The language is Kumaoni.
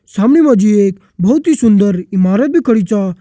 सामनी मा जी एक बहोत ही सुन्दर इमारत भी खड़ी छ।